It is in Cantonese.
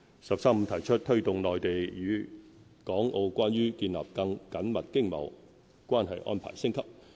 "十三五"提出"推動內地與港澳關於建立更緊密經貿關係安排升級"。